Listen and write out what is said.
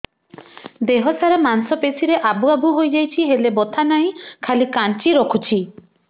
ଦେହ ସାରା ମାଂସ ପେଷି ରେ ଆବୁ ଆବୁ ହୋଇଯାଇଛି ହେଲେ ବଥା ନାହିଁ ଖାଲି କାଞ୍ଚି ରଖୁଛି